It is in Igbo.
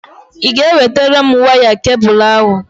Ị ga-ewetara m waya kebụlụ ahụ?